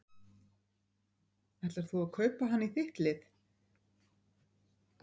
Ætlar þú að kaupa hann í þitt lið?